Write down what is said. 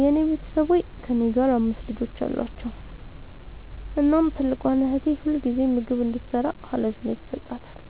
የኔ ቤተሠቦይ ከእኔ ጋር አምስት ልጆች አሏቸዉ። እናም ትልቋን እህቴ ሁልጊዜም ምግብ እንድትሰራ ሀላፊነት ይሠጣታል።